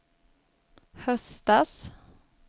höstas